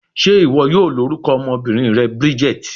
Ṣe iwọ yoo lorukọ ọmọbinrin rẹ Bridget?